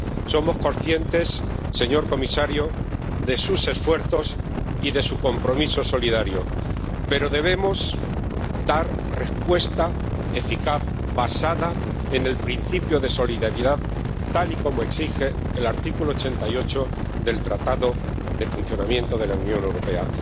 Somos conscientes, señor comisario, de sus esfuerzos y de su compromiso solidario, pero debemos dar respuesta eficaz basada en el principio de solidaridad, tal y como exige el artículo 88 del Tratado de Funcionamiento de la Unión Europea.